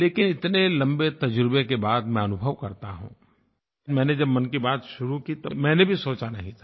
लेकिन इतने लम्बे तज़ुर्बे के बाद मैं अनुभव करता हूँ मैंने जब मन की बात शुरू की तो मैंने भी सोचा नहीं था